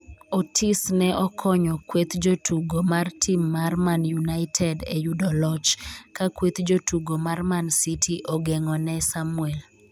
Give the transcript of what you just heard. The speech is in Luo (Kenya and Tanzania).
Otis ne okonyo kweth jotugo mar tim mar Man United e yudo loch ka kweth jotugo mar man city ogeng'o ne Samuel